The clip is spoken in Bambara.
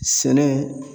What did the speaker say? Sɛnɛ